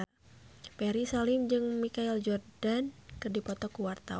Ferry Salim jeung Michael Jordan keur dipoto ku wartawan